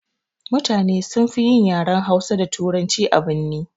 Mutane sunfi yin yaren hausa da turanci a birni.